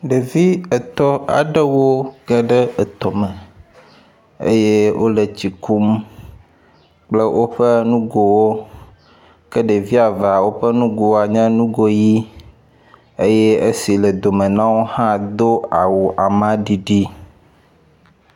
Ɖevi etɔ̃ aɖewo geɖe etɔ me eye wo le etsi kum kple woƒe nugowo ke ɖevi evea woƒe nugo nye nugo ʋi eye esi le dome na wo hã do awu ama ɖiɖi.